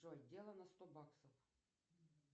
джой дело на сто баксов